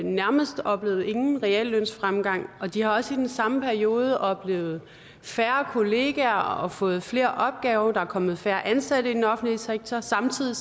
nærmest oplevet ingen reallønsfremgang og de har også i den samme periode oplevet at færre kollegaer og fået flere opgaver der er kommet færre ansatte i den offentlige sektor samtidig